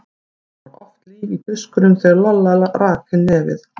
Það var oft líf í tuskunum þegar Lolla rak inn nefið.